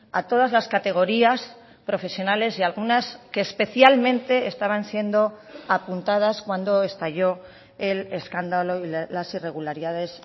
a todas las categorías profesionales y algunas que especialmente estaban siendo apuntadas cuando estalló el escándalo y las irregularidades